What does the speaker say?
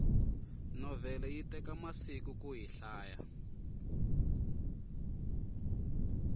novhele yi teka masiku kuyi hlaya